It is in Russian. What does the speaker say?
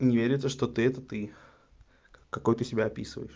не верится что ты это ты какой ты себя описываешь